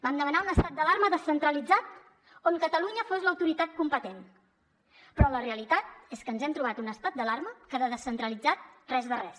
vam demanar un estat d’alarma descentralitzat on catalunya fos l’autoritat competent però la realitat és que ens hem trobat un estat d’alarma que de descentralitzat res de res